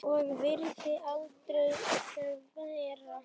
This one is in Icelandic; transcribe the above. og virðing aldrei þverra.